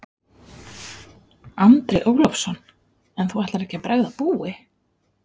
Andri Ólafsson: En þú ætlar ekkert að bregða búi?